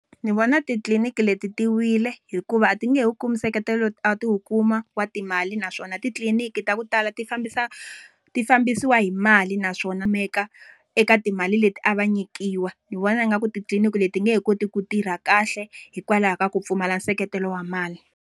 Ndzi vona titliniki leti ti wile, hikuva a ti nge wu kumi nseketelo a ti wu kuma wa timali naswona titliniki ta ku tala ti fambisa ti fambisiwa hi mali naswona eka timali leti a va nyikiwa. Ndzi vona ingaku titliniki leti ti nge he koti ku tirha kahle, hikwalaho ka ku pfumala nseketelo wa mali.